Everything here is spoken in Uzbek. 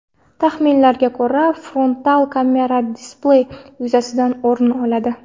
Taxminlarga ko‘ra, frontal kamera displey yuzasidan o‘rin oladi.